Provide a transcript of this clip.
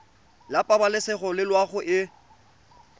la pabalesego le loago e